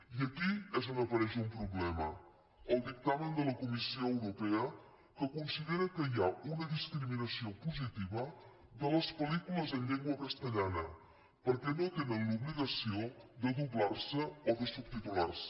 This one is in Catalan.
i aquí és on apareix un problema el dictamen de la comissió europea que considera que hi ha una discriminació positiva de les pel·lícules en llengua castellana perquè no tenen l’obligació de doblar se o de subtitular se